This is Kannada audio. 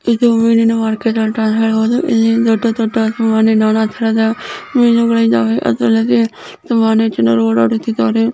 ಇದು ಮಿನಿನ್ ಮಾರ್ಕೆಟ್ ಅಂತ ಹೇಳಬಹುದು ಇಲ್ಲಿ ದೊಡ್ಡ್ ದೊಡ್ಡನಾನಾ ತರಹದ ಮೀನುಗಳು ಇದ್ದಾವೆ. ಜನ ಓಡಾಡುತ್ತಿದ್ದಾರೆ.